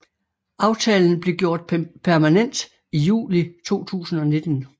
Aftalen blev gjort permanent i juli 2019